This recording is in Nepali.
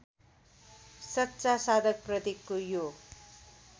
सच्चा साधकप्रतिको यो